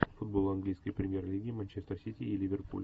футбол английской премьер лиги манчестер сити и ливерпуль